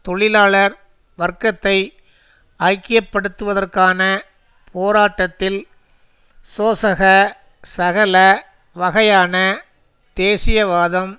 தொழிலாளர் வர்க்கத்தை ஐக்கிய படுத்துவதற்கான போராட்டத்தில் சோசக சகல வகையான தேசியவாதம்